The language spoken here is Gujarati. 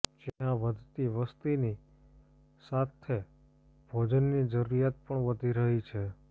જ્યાં વધતી વસતીની સાથે ભોજનની જરૂરિયાત પણ વધી રહી છે